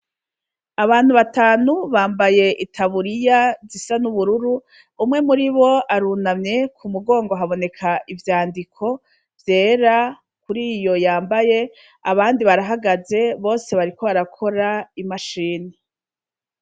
Abantu batanu bambaye i taburiya zisa n'ubururu umwe muri bo arunamye ku mugongo haboneka ivyandiko vyera kuri iyo yambaye abandi barahagaze bose bariko arakora imashini.